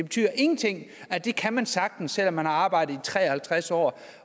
ingenting betyder at det kan man sagtens selv om man har arbejdet i tre og halvtreds år